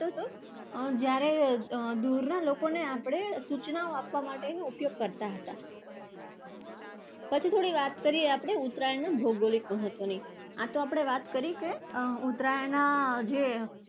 જ્યારે દુરના લોકોને આપણે સૂચનાઓ આપવા માટે કરતા. પછી થોડી વાત કરીએ આપણે ઉત્તરાયણના ભૌગોલિક મહત્વની. આ તો આપણે વાત કરી કે અર ઉત્તરાયણના અર જે